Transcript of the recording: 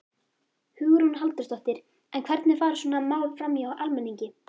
Hugrún Halldórsdóttir: En hvernig fara svona mál framhjá almenningi?